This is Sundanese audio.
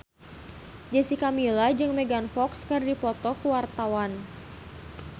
Jessica Milla jeung Megan Fox keur dipoto ku wartawan